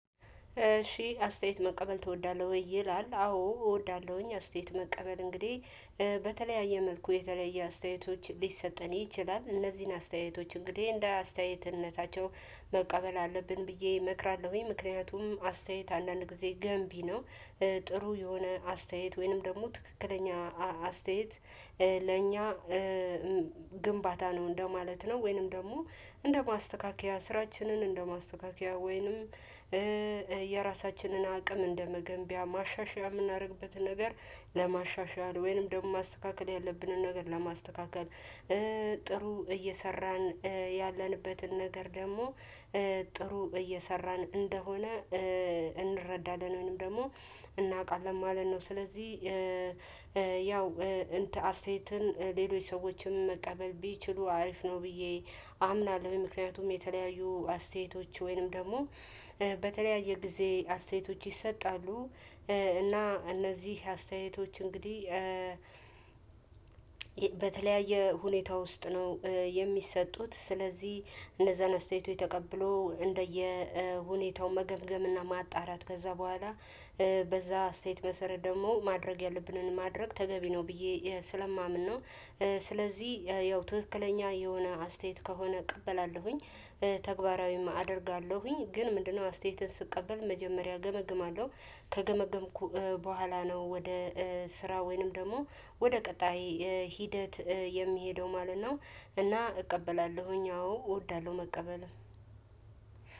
እሺ አስተያየት መቀበል ትወዳለህ ወይ ይላል? አዎ እወዳለሁኝ አስተያየት መቀበል እንግዲህ በተለያየ መልኩ የተለየ አስተያየቶች ሊሰጠን ይችላል። እነዚህን አስተያየቶች እንግዲህ እንደ አስተያየትነታቸው መቀበል አለብን ብዬ እመክራለሁኝ። ምክንያቱም አስተያየት አንዳንድ ጊዜ ገንቢ ነው። ጥሩ የሆነ አስተያየት ወይንም ደግሞ ትክክለኛ አስተያየት ለእኛ ግንባታ ነው እንደማለት ነው። ወይንም ደግሞ እንደ ማስተካከያ ስራችንን እንደ ማስተካከያ ወይንም። የራሳችንን አቅም እንደመገንቢያ ማሻሻያ የምናደርግበትን ነገር ለማሻሻል ወይንም ደግሞ ማስተካከል ያለብንን ነገር ለማስተካከል። ጥሩ እየሰራን ያለንበትን ነገር ደግሞ ጥሩ እየሰራን እንደሆነ እንረዳለን ወይም ደግሞ እናውቃለን ማለት ነው። ስለዚህ ያው አስተያየትን ሌሎች ሰዎችንም መቀበል ቢችሉ አሪፍ ነው ብዬ አምናለሁ። ምክንያቱም የተለያዩ አስተያየቶች ወይንም ደግሞ በተለያየ ጊዜ አስተያየቶች ይሰጣሉ እና እነዚህ አስተያየቶች እንግዲህ በተለያየ ሁኔታ ውስጥ ነው። የሚሰጡት ስለዚህ እነዛን አስተያየቶች ተቀብሎ እንደየሁኔታው መገምገምና ማጣራት ከዛ በኋላ በዛ አስተያየት መሰረት ደግሞ ማድረግ ያለብንን ማድረግ ተገቢ ነው ብዬ ስለማምን ነው። ስለዚህ ያው ትክክለኛ የሆነ አስተያየት ከሆነ እቀበላለሁኝ ተግባራዊም አደርጋለሁኝ። ግን ምንድነው? አስተያየትን ስቀበል መጀመሪያ እገመግማለሁ ከገመገምኩ በኋላ ነው ወደ ስራ ወይንም ደግሞ ወደ ቀጣይ ሂደት የሚሄደው ማለት ነው። እና እቀበላለሁኝ አዎ እወዳለሁ መቀበልም